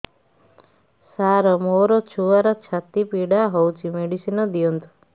ସାର ମୋର ଛୁଆର ଛାତି ପୀଡା ହଉଚି ମେଡିସିନ ଦିଅନ୍ତୁ